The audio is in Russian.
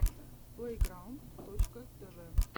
плейграунд точка тв